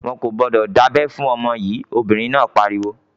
"Wọn kò gbọdọ̀ dábẹ fún ọmọ yìí!" Obìnrin náà pariwo.